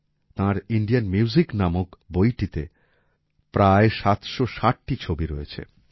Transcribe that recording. তাঁর Indian music নামক বইটিতে প্রায় ৭৬০টি ছবি রয়েছে